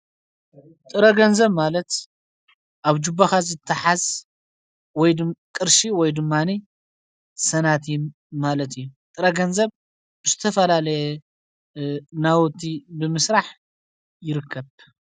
ጥረገንዘብ ማለት ኣብ ጅባኻዝ እተሓዝ ወይ ድቕርሺ ወይ ዱማነ ሰናት ማለት እየ ጥረገንዘብ ብስተፈላለየ ናወቲ ብምሥራሕ ይርከብ::